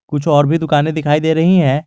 कुछ और भी दुकाने दिखाई दे रही है।